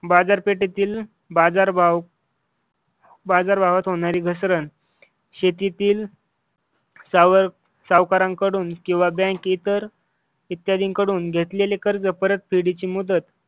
बाजारपेठेतील बाजारभाव बाजार भावात होणारी घसरण शेतीतील सावकारांकडून किंवा बँकेतर इत्यादींकडून घेतलेले कर्ज परतफेडची मुदत